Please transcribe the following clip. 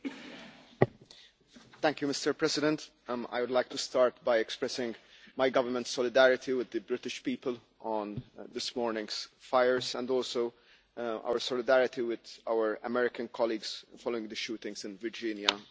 Mr President, I would like to start by expressing my government's solidarity with the British people on this morning's fire and also our solidarity with our American colleagues following the shootings in Virginia just some time ago.